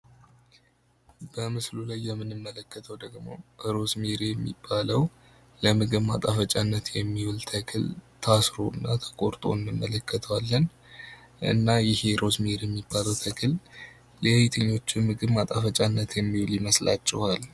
በምስሉ ላይ የምንመለከተው ደግሞ ክሮስማሪ የሚባለው ለምግብ ማጣፈጫነት የሚውል ተክል ታስሮ እና ተቆርጦ እንመለከተዋለን እና ይኸ እሮዝሜር የሚባለው ተክል ለየትኞቹ የምግብ ማጣፈጫነት የሚውል ይመስላችኋል?